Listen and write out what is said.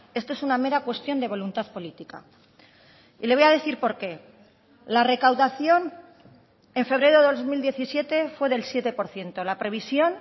esto es una mera cuestión de voluntad política y le voy a decir por qué la recaudación en febrero de dos mil diecisiete fue del siete por ciento la previsión